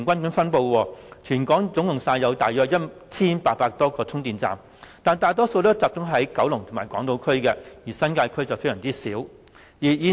現時全港約有 1,800 多個充電站，但大部分集中在九龍及港島區，新界區只有很少充電站。